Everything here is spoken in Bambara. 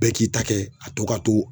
Bɛɛ k'i ta kɛ a to ka to